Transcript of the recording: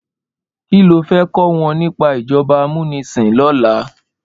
Ki ló fè kò wòn nipá ijòbá àmúnisín lòlá?